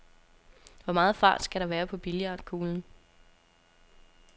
Hvor meget fart skal der være på billiardkuglen?